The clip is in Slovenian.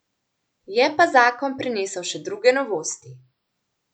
Je pa zakon prinesel še druge novosti.